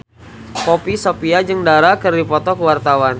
Poppy Sovia jeung Dara keur dipoto ku wartawan